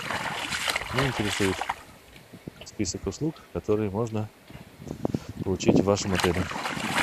меня интересует список услуг которые можно получить в вашем отеле